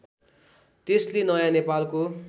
त्यसले नयाँ नेपालको